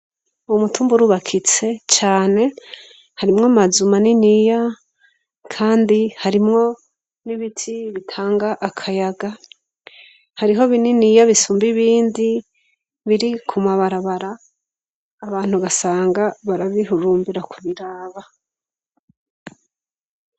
Uw'Umutumba urubakitse cane, harimwo Amazu maniniya ,kandi harimwo n'ibiti bitanga akayaga. Hariho bininiya bisumba ibindi, biri ku mabarabara abantu ugasanga barabihurumbira kubiraba.